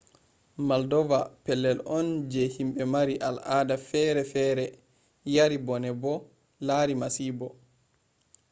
moldova pellel on je himɓe mari al ada fere fere yari bone bo lari masibo